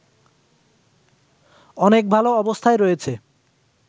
অনেক ভালো অবস্থায় রয়েছে